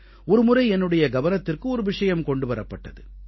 ஒருமுறை என்னுடைய கவனத்திற்கு ஒரு விஷயம் கொண்டு வரப்பட்டது